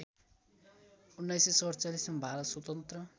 १९४७ मा भारत स्वतन्त्र